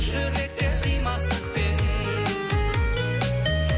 жүректе қимастықпен